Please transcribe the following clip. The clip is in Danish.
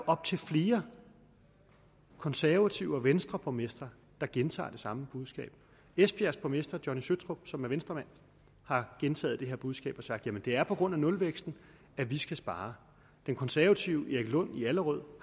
op til flere konservative borgmestre og venstreborgmestre der gentager det samme budskab esbjergs borgmester johnny søtrup som er venstremand har gentaget det her budskab og har sagt jamen det er på grund af nulvæksten at vi skal spare den konservative erik lund i allerød